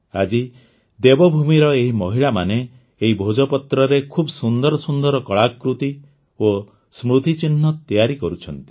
ଆଜି ଦେବଭୂମିର ଏହି ମହିଳାମାନେ ଏହି ଭୋଜପତ୍ରରେ ଖୁବ୍ ସୁନ୍ଦର ସୁନ୍ଦର କଳାକୃତି ଓ ସ୍ମୃତିଚିହ୍ନ ତିଆରି କରୁଛନ୍ତି